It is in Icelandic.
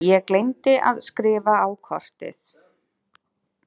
Ég gleymdi að skrifa á kortið.